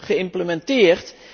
geïmplementeerd.